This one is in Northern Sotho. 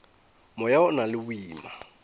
moya o na le boima